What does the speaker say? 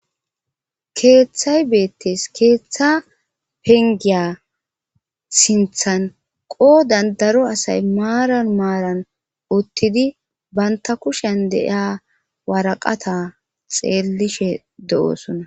Keeththay beettes keeththa pengiya sinthan qoo dandaro asay maaran maaran uttidi banta kushen deiya waraqata xeellishe de'oosona